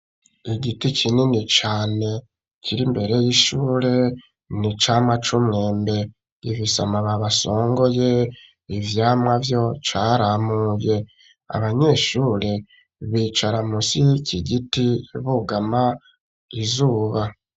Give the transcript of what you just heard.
Igiti kinini cane kiri mbere y'ishure, ni icamwa c'umwembe. Gifise amababi asongoye, ivyamwa vyo caramuye. Abanyeshure bicara musi y'iki giti bugama izuba.